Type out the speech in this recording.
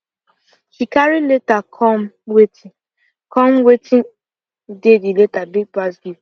she carry letter come watin come watin dey the letter big pass